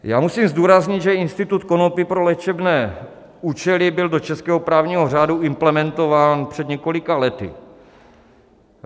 Já musím zdůraznit, že institut konopí pro léčebné účely byl do českého právního řádu implementován před několika lety.